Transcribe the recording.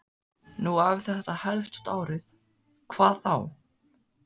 Nú ef þetta helst út árið, hvað þá?